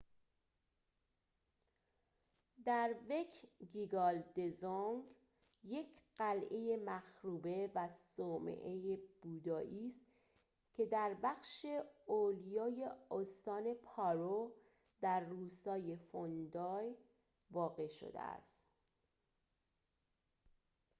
دروکگیال دزونگ یک قلعه مخروبه و صومعه بودایی است که در بخش اولیای استان پارو در روستای فوندی واقع شده است